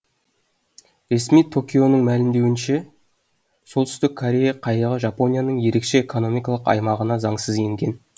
ресми токионың мәлімдеуінше солтүстік корея қайығы жапонияның ерекше экономикалық аймағына заңсыз енген